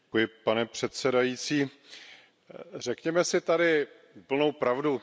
Pane předsedající, řekněme si tady úplnou pravdu.